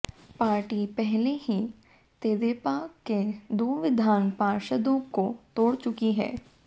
party पहले ही तेदेपा के दो विधान पार्षदों को तोड़ चुकी है